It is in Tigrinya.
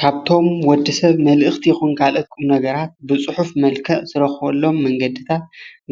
ካብቶም ወዲ ሰብ መልእክቲ ይኩን ካልኦት ቁምነገራት ብፅሑፍ መልክዕ ዝረክበሎም መንገዲታት